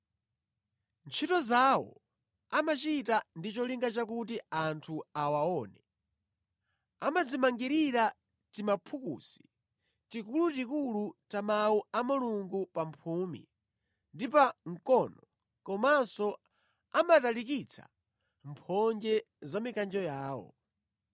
“Ntchito zawo amachita ndi cholinga chakuti anthu awaone. Amadzimangirira timaphukusi tikulutikulu ta Mawu a Mulungu pa mphumi ndi pa mkono komanso amatalikitsa mphonje za mikanjo yawo.